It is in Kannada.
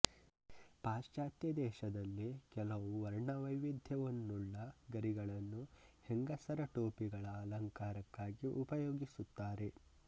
ಪಾಶ್ಚಾತ್ಯ ದೇಶದಲ್ಲಿ ಕೆಲವು ವರ್ಣವೈವಿಧ್ಯವನ್ನುಳ್ಳ ಗರಿಗಳನ್ನು ಹೆಂಗಸರ ಟೋಪಿಗಳ ಅಲಂಕಾರಕ್ಕಾಗಿ ಉಪಯೋಗಿಸುತ್ತಾರೆ